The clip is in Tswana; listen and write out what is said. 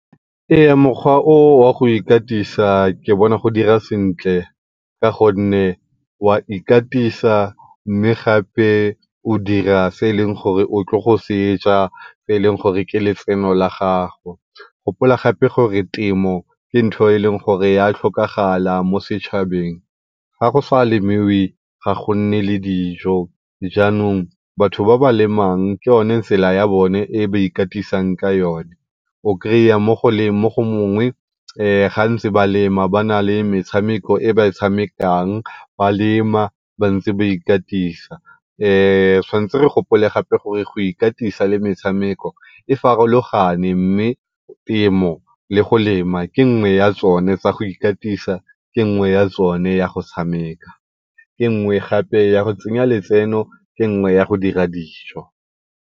mokgwa o wa go ikatisa ke bona go dira sentle ka gonne wa ikatisa mme gape o dira se e leng gore o tlile go seja se e leng gore ke letseno la gago. Gopola gape gore temo ke ntho e e leng gore ya tlhokagala mo setšhabeng. Ga go sa lemiwe ga go nne le dijo, jaanong batho ba ba lemang ke yone tsela e ba ikatisang ka yone. O kry-a mo gongwe ga ba ntse ba lema ba na le metshameko e ba e tshamekang ba lema ba ntse ba ikatisa. re tshwantse re gopole gape gore go ikatisa le metshameko e farologane mme temo le go lema ke nngwe ya tsone tsa go ikatisa, ke nngwe ya tsone ya go tshameka, ke nngwe gape ya go tsenya letseno, ke nngwe ya go dira dijo.